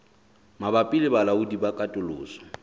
mabapi le balaodi ba katoloso